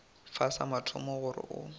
fa sa mathomo gore o